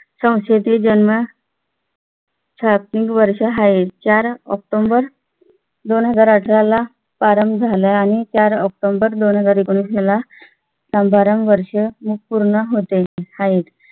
संस्थेतील ज्यांना छापील वर्ष आहे चार ऑक्टोबर दोन हजार अठरा ला प्रारंभ झाला. आणि चार ऑक्टोबर दोन हजार एकोणवीस ला समारंभ वर्ष पूर्ण होते आहे.